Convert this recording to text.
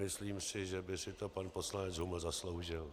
Myslím si, že by si to pan poslanec Huml zasloužil.